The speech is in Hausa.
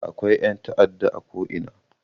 Akwai ƴan ta'adda a ko ina